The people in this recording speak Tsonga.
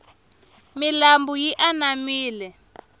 milambu yi anamile